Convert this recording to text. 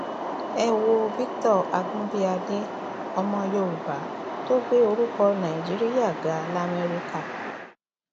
ẹ wo victor agunbíàdé ọmọ yorùbá tó gbé orúkọ nàìjíríà ga lamẹríkà